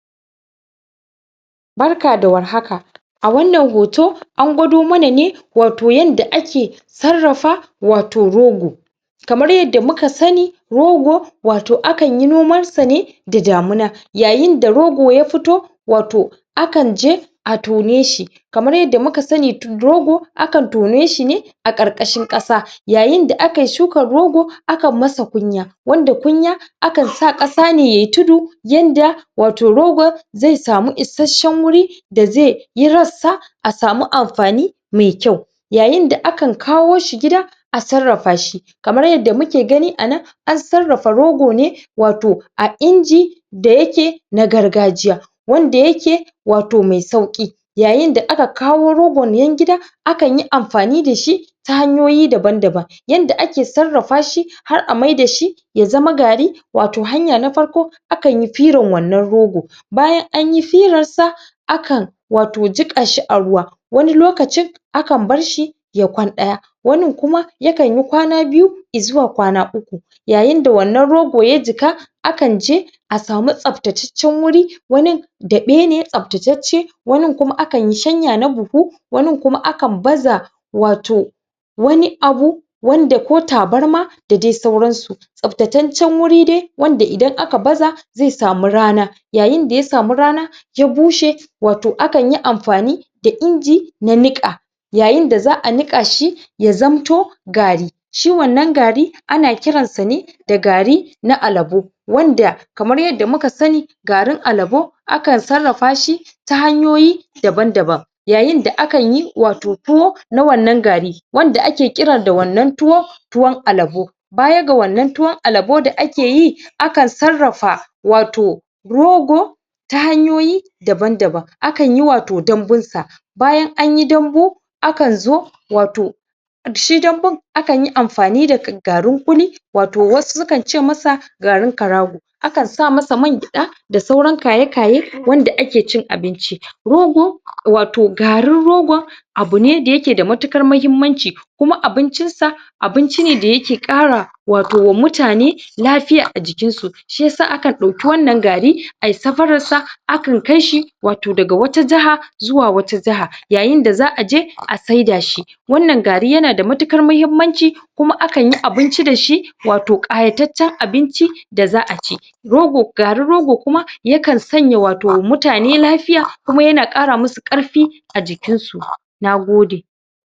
Barka da warhaka a wannan hoto an gwado mana ne wato yanda ake sarrafa wato rogo Kamar yanda muka sani rogo wata a kanyi noman sa ne da damuna, yayinda rogo ya fito wato a kan je a tone shi kamar yanda muka sani rogo a kan tone shi ne a karkashin ƙasa. Yayinda a kayi shukan rogo a kan masa kunya wanda kunya a kan sa ƙasa ne yayi tudu yanda wato rogon zai samu isasshen guri da zai yi rassa a samu amfani mai kyau yayinda akan kawo shi gida a sarrafa shi Kamar yanda muke gani anan an sarrafa rogo ne wato a inji da yake na gargajiya wanda yake wato mai sauki Yayinda aka kawo rogonnan gida, a kanyi amfani da shi ta hanyoyi daban daban yanda ake sarrafa shi har a maida shi ya zama gari wato hanya na farko a kanyi firan wannan rogon bayan anyi firar sa a kan wato jiƙka shi a ruwa wani lokacin a kan barshi ya kwan daya wanin kuma ya kanyi kwana biyu izuwa kwana uku yayinda wannan rogo ya jiƙa, a kan je a samu tsaftataccen wuri wani da ɓe ne tsaftatacce wanin kuma a kanyi shanya na buhu wanin kuma a kan baza wato wani abu wanda ko tabarma da dai sauran su Tsaftataccen wuri dai wanda idan aka baza zai samu rana yayinda ya samu rana, ya bushe wato a kanyi amfani da inji na niƙa yyainda za a niƙa shi ya zamto gari shi wannan gari ana kiransa ne da gari na alabo wanda kaman yanda muka sani garin alabo aka sarrafa shi ta hanyoyi daban daban yayinda a kanyi wato tuwo na wannan gari wanda ake kira da wannan tuwon alabo baya ga wannan tuwon alabo da ake yi a kan sarrafa wato rogo ta hanyoyi daban daban. A kanyi wato dambun sa bayan anyi dambu a kan zo wato shi dambun akanyi amfani da garin ƙuli wato sukan ce masa garin karago. a kan sa masa man gyada da sauran kaye-kaye wanda ake cin abinci. Rogo wato garin rogon abu ne da yake da mutaƙar muhimmanci kuma abincin sa abinci da yake ƙara wato wa mutane lafiya a jikin su shiyasa akan dauki wannan gari ayi safaran sa a kan kaishi wato daga wata jaha zuwa wata jaha yayinda za a je a saida shi wannan gari yanada mutuƙkar muhimmanci kuma akanyi abinci dashi wato ƙayataccen abinci da za a ci Garin rogo kuma ya kan sanya wa to ma mutane lafiya kuma yana ƙara musu ƙarfi a jikin su. Na gode